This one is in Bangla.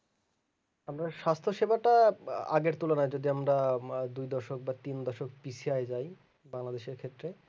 আমর স্বাস্থ সেবটা আগের তুলনায় যদি আমরা আহ দুই দশক বা তিন দশক পিছায়া যাই বাংলাদেশের ক্ষেত্রে